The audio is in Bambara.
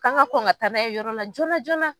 K'an ŋa kɔn ŋa taa n'a ye yɔrɔ la joona joona